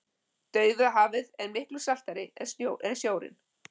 Dauðahafið er miklu saltara en sjórinn.